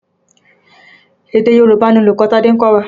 Èdè Yorùbá ni olùkọ́ Tádé ń kọ́wa.